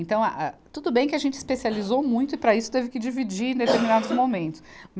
Então, a, a, tudo bem que a gente especializou muito e para isso, teve que dividir em determinados momentos.